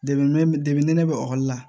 ne bɛ ekɔli la